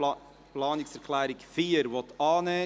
Abstimmung (Planungserklärung SAK, [Jost, Thun] – Nr. 4)